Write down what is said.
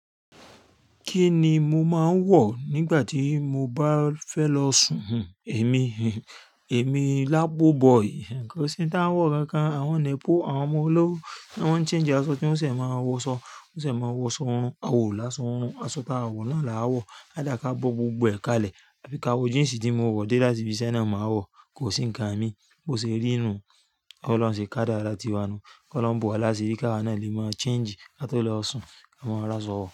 Kí ni mo máa ń wọ̀ nígbà tí mo bá fẹ́ lọ sùn? Èmi, èmi labo boy, kò sí n tań wọ́ kankan, àwọn nepo, àwọn ọmọ olówó, wọ́n ń change aṣọ tí wọ́n ṣẹ̀ máa wọ ṣọ, wọ́n ṣẹ̀ mo wọ ṣọ orun, a wa o láso orun, aṣọ tá a wọ̀ náà là a wọ̀, á dà ká bó gbogbo ẹ kalẹ̀, tàbí ká wọ jíǹsì tí mo wọ̀ dé láti ibi sẹ́ náà ma wọ̀, kò sí ǹkan mi. Bó ṣe rí nú, ó lọun ṣe ká dára ti wanú, kó lọhun bo wà lási rí ká wa náà lè máa change kátòó lọ sùn, a máa rásọ̀wọ̀.